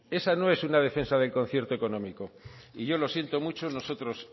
esa no es una defensa del concierto económico y yo lo siento mucho nosotros